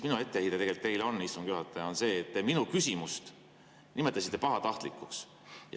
Minu etteheide teile, istungi juhataja, on see, et te minu küsimust nimetasite pahatahtlikuks.